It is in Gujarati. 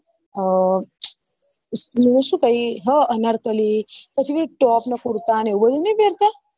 હ મુ શું પહી હ અનારકલી top ને કુર્તા ને એવું બધું નહિ પેરતા